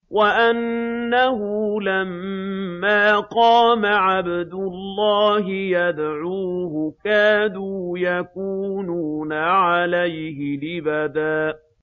وَأَنَّهُ لَمَّا قَامَ عَبْدُ اللَّهِ يَدْعُوهُ كَادُوا يَكُونُونَ عَلَيْهِ لِبَدًا